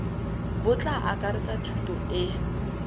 bo tla akaretsa thuto e